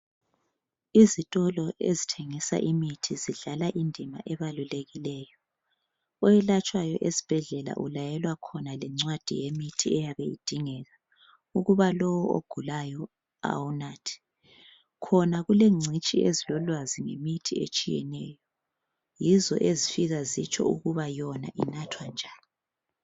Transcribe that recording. Izitolo ezithengisa imithi zidlala indima ebalulekileyo. Oyelatshwayo esibhedlela ulayelwa khona lencwadi yemithi eyabe idingeka ukuba lowo ogulayo awunathe. Khona kulengcitshi ezilolwazi ngemithi etshiyeneyo. Yizo ezifika zitsho ukuba yona inathwa njani.